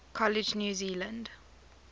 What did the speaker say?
college new zealand